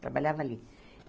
Trabalhava ali.